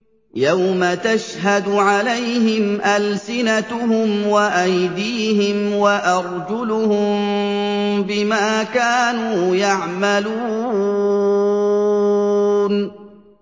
يَوْمَ تَشْهَدُ عَلَيْهِمْ أَلْسِنَتُهُمْ وَأَيْدِيهِمْ وَأَرْجُلُهُم بِمَا كَانُوا يَعْمَلُونَ